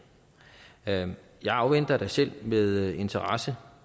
jeg jeg afventer da selv med interesse